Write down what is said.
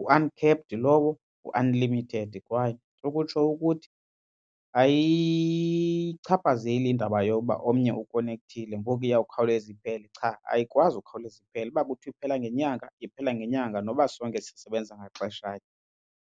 u-uncapped lowo ngu-unlimited kwaye ukutsho ukuthi ayichaphazeli indaba yokuba omnye ukonekthile ngoku iyawukhawuleze iphele cha ayikwazi ukukhawuleza iphele. Uba iphela ngenyanga iphela ngenyanga noba sonke siyisebenzisa ngaxeshanye.